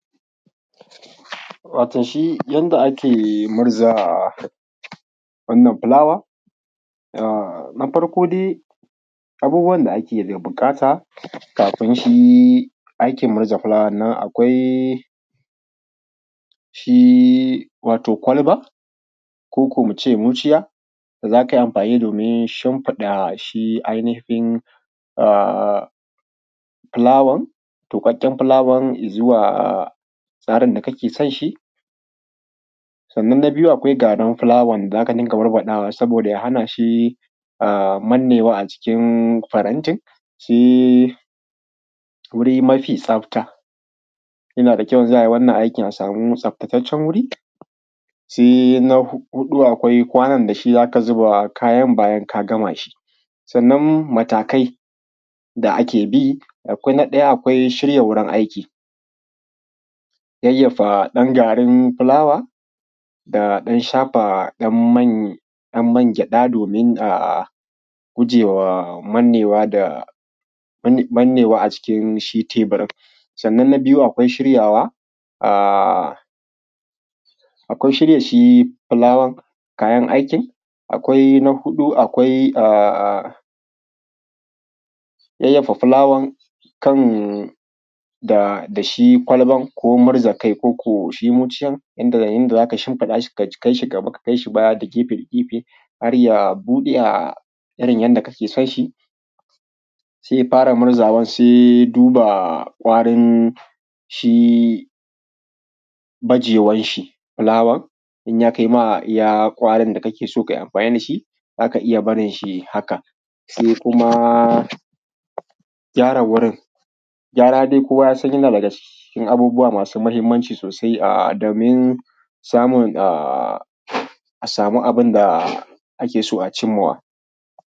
Wato shi yadda ake murza wannan fulawa, na farko dai abubuwan da ake buƙata kafin shi aikin murza fulawan akwai shi wato kwalba ko ko muce muciya za kai amfani domin shinfiɗa shi ainihin fulawan tukaken fulawan yi zuwa tsarin da kake son shi, sannan na biyu akwai garin fulawan da zaka ɗinka barbadawa saboda ya hana shi mannewa a jikin farantin, shi guri mafi tsafta, yana da kyau idan za a yi wannan aiki a samu tsaftattacen wuri, sai na huɗu akwai kwanan da shi zaka zuba kayan bayan k agama shi, sannan matakai da ake bi, akwai na ɗaya akwai shirya gurin aiki, yayyafa dan garin fulawa da dan shafa dan mangyaɗa domin a guje wa mannewa a cikin shi teɓurin, sannan na biyu akwai shiryawa akwai shirya shi fulawan kayan aikin, akwai na huɗu akwai yayyafa fulawan kan da shi kwalban ko murza kai ko ko shi miciyar inda yayin da zaka shinfiɗa shi ka kaishi gab aka kaishi baya da gefe gefe har ya buɗe irin yadda kake son shi sai ya fara murzawa sai duba warin shi majewan shi fulawan in ya kaima iya warin da kake so kai amfani da shi zaka iya barin shi haka, sai kuma gyara wurin, gyara dai kowa dai ya son yana daga cikin abubuwa masu muhimmanci sosai domin samun a samu abin da ake so a cin ma wa.